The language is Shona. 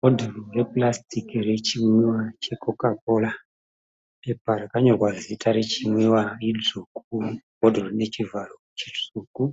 Bhodhoro repurasitiki rechinwíwa cheCoca Cola. Pepa rakanyorwa zita rechimwiwa ridzvuku. Muvharo webhodhoro mutsvuku.